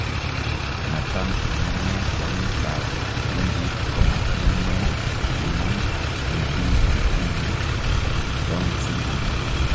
natam amunee kungit ap kundit koma kii ne paiman en piik chetinye Down�s syndrome